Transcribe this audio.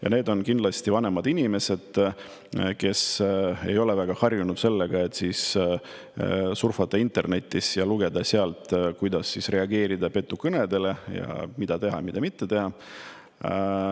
Ja need on vanemad inimesed, kes ei ole väga harjunud surfama internetis ja lugema sealt, kuidas reageerida petukõnedele, mida teha ja mida mitte teha.